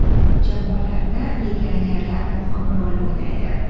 Jamoalarda legionerlar muhim rol o‘ynaydi.